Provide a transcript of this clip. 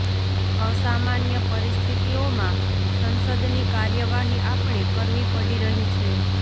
અસામાન્ય પરિસ્થિતિઓમાં સંસદની કાર્યવાહી આપણે કરવી પડી રહી છે